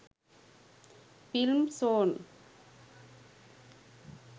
films songs